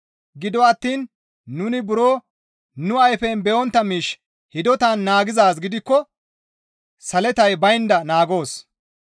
Gido attiin nuni buro nu ayfen be7ontta miish hidotan naagizaaz gidikko saletay baynda naagoos.